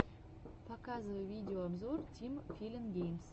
показывай видеообзор тим филин геймс